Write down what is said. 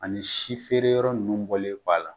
Ani si feere yɔrɔ ninnu bɔlen b'a la.